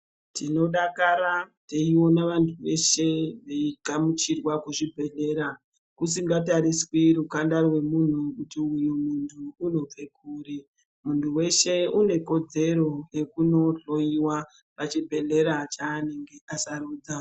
Tinodakara, teyiona vantu veshe veyigamuchirwa kuzvibhedhlera, kusingatariswi rukanda rwemuntu, kuti muntu uyu unobve kuri, muntu weshe unekodzero yekunohloyiwa pachibhedhlera chaanenge asarudza.